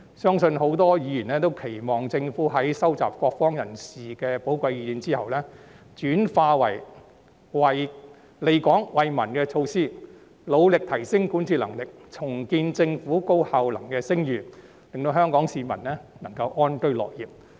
相信很多議員都期望政府在收集各方人士的寶貴意見後，將之轉化為利港惠民的措施，並努力提升管治能力，重建政府高效能的聲譽，令香港市民能夠安居樂業。